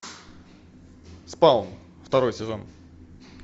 спаун второй сезон